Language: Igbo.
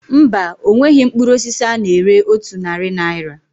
Mba, onweghị mkpụrụ osisi a na-ere otu narị naira